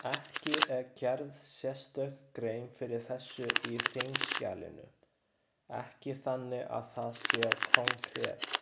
Ekki er gerð sérstök grein fyrir þessu í þingskjalinu, ekki þannig að það sé konkret.